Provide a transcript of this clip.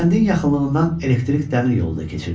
Kəndin yaxınlığından elektrik dəmir yolu da keçirdi.